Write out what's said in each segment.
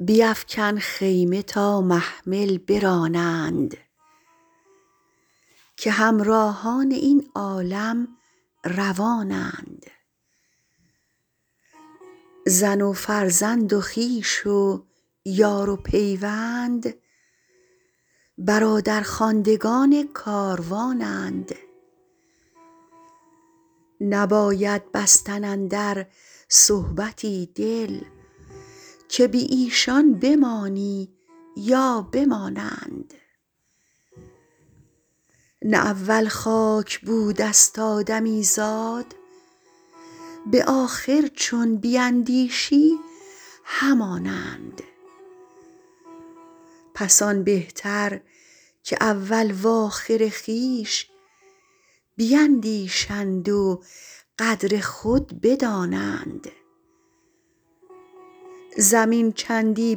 بیفکن خیمه تا محمل برانند که همراهان این عالم روانند زن و فرزند و خویش و یار و پیوند برادرخواندگان کاروانند نباید بستن اندر صحبتی دل که بی ایشان بمانی یا بمانند نه اول خاک بوده ست آدمیزاد به آخر چون بیندیشی همانند پس آن بهتر که اول وآخر خویش بیندیشند و قدر خود بدانند زمین چندی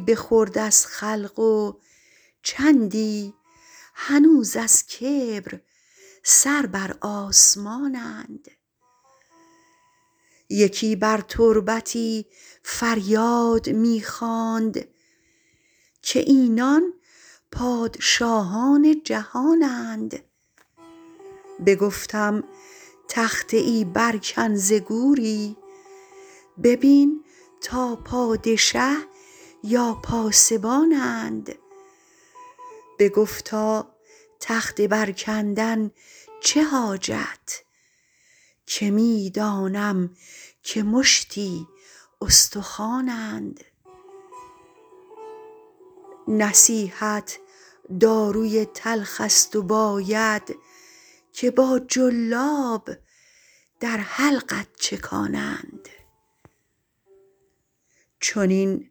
بخورد از خلق و چندی هنوز از کبر سر بر آسمانند یکی بر تربتی فریاد می خواند که اینان پادشاهان جهانند بگفتم تخته ای بر کن ز گوری ببین تا پادشه یا پاسبانند بگفتا تخته بر کندن چه حاجت که می دانم که مشتی استخوانند نصیحت داروی تلخ است و باید که با جلاب در حلقت چکانند چنین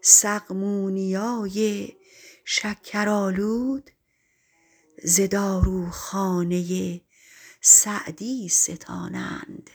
سقمونیای شکرآلود ز داروخانه سعدی ستانند